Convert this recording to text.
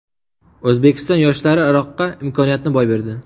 O‘zbekiston yoshlari Iroqqa imkoniyatni boy berdi.